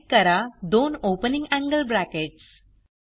type करा दोन opening angle brackets